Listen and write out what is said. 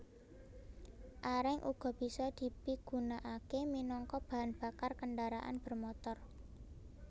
Areng uga bisa dipigunakaké minangka bahan bakar kendharaan motor